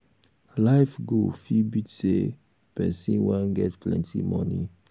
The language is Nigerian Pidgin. life goal fit be sey person wan get plenty moni